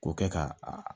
K'o kɛ ka a